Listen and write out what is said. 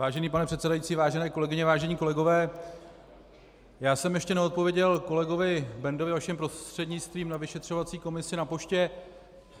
Vážený pane předsedající, vážené kolegyně, vážení kolegové, já jsem ještě neodpověděl kolegovi Bendovi vaším prostřednictvím na vyšetřovací komisi na poště.